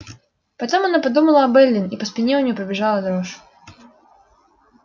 потом она подумала об эллин и по спине у неё пробежала дрожь